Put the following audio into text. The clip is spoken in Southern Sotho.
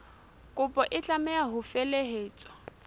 kopo e tlameha ho felehetswa